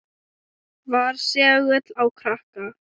Var segull á krakka.